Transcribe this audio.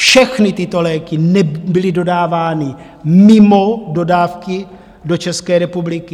Všechny tyto léky byly dodávány mimo dodávky do České republiky.